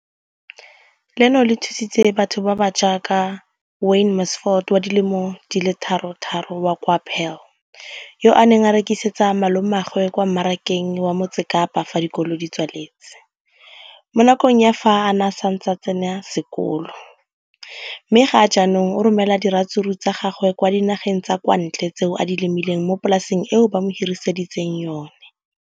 leno le thusitse batho ba ba jaaka Wayne Mansfield, 33, wa kwa Paarl, yo a neng a rekisetsa malomagwe kwa Marakeng wa Motsekapa fa dikolo di tswaletse, mo nakong ya fa a ne a santse a tsena sekolo, mme ga jaanong o romela diratsuru tsa gagwe kwa dinageng tsa kwa ntle tseo a di lemileng mo polaseng eo ba mo hiriseditseng yona.